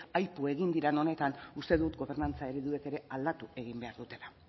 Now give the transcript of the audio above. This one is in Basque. aipu egin diren honetan uste dut gobernantza ereduek ere aldatu egin behar dutela